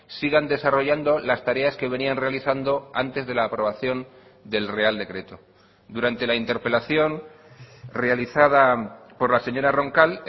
sigan desarrollando las tareas que venían realizando antes de la aprobación del real decreto durante la interpelación realizada por la señora roncal